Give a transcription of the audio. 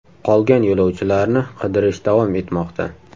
Qolgan yo‘lovchilarni qidirish davom etmoqda.